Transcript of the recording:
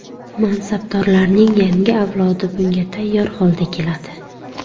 Mansabdorlarning yangi avlodi bunga tayyor holda keladi.